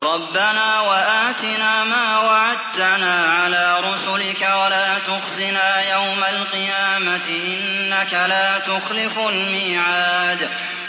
رَبَّنَا وَآتِنَا مَا وَعَدتَّنَا عَلَىٰ رُسُلِكَ وَلَا تُخْزِنَا يَوْمَ الْقِيَامَةِ ۗ إِنَّكَ لَا تُخْلِفُ الْمِيعَادَ